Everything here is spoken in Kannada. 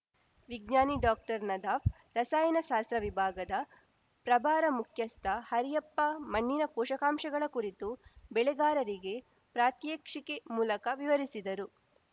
ವಿಜ್ಞಾನಿ ಡಾಕ್ಟರ್ನದಾಫ್‌ ರಸಾಯನಶಾಸ್ತ್ರ ವಿಭಾಗದ ಪ್ರಭಾರ ಮುಖ್ಯಸ್ಥ ಹರಿಯಪ್ಪ ಮಣ್ಣಿನ ಪೋಷಕಾಂಶಗಳ ಕುರಿತು ಬೆಳೆಗಾರರಿಗೆ ಪ್ರಾತ್ಯಕ್ಷಿಕೆ ಮೂಲಕ ವಿವರಿಸಿದರು